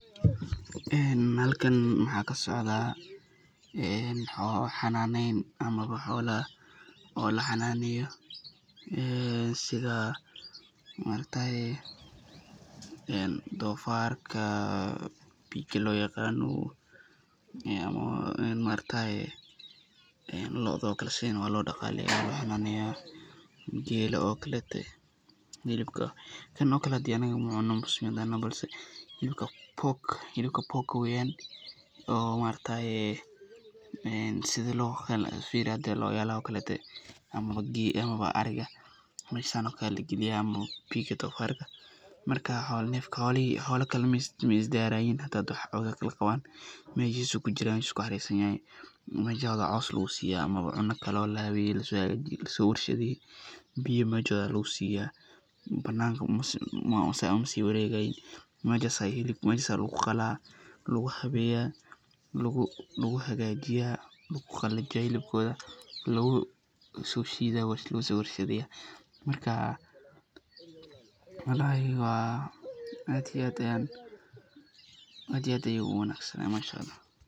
Halkan waxaa kasocdaa xanaaneyn ama xoola laxanaaneyo, sidha doofarka, looda sidhan waa loo daqaaleeya, geela oo kaleete, hilibka Kan oo kale anaga macuno muslim aan nahay hilibka [pork]weeyan, sidha laayadaha oo kaleete amaba ariga meeshan camal waa lagaliyaa meeshooda coos lagu siiya, hilibka oo lahabeeye ,biya meeshaas ayaa lagu siiya, banaanka saas umasii wareegayiin, meeshaas ayaa lagu qalaa, lagu habeeya, lagu hagaajiya, hilibkooda lagu soo shiida, markaa walahi aad iyo aad ayeey uwanagsan tahay.